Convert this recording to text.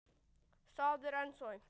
Það er ennþá aumt.